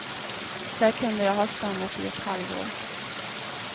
Där kunde jag ha stannat i ett halvår.